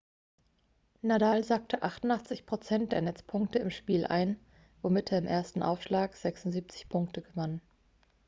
nadal sackte 88% der netzpunkte im spiel ein womit er im ersten aufschlag 76 punkte gewann